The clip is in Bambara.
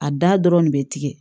A da dɔrɔn de bɛ tigɛ